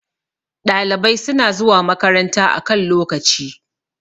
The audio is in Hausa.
ɗalibai suna zuwa makaranta a kan lokaci